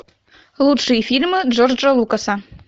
лучшие фильмы джорджа лукаса